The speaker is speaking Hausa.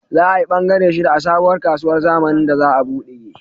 Za ayi bangare shida a sabuwar kasuwar zamanin da za a buɗe